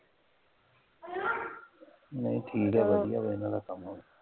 ਨਹੀਂ ਠੀਕ ਹੈ ਵਧੀਆ ਵਾ ਸਾਰਾ ਕੰੰਮ